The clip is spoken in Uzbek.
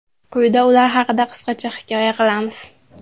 Quyida ular haqida qisqacha hikoya qilamiz.